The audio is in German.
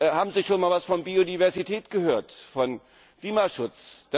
Haben Sie schon einmal etwas von Biodiversität gehört, von Klimaschutz?